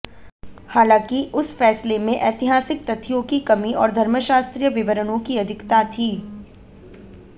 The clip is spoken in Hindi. हालांकि उस फैसले में ऐतिहासिक तथ्यों की कमी और धर्मशास्त्रीय विवरणों की अधिकता थी